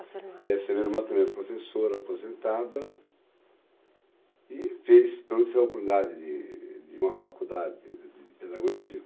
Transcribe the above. a sua irmã? Essa minha irmã também é professora, aposentada, e fez a oportunidade de de uma faculdade, quer dizer, de pedagogia.